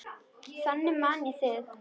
Þannig man ég þig.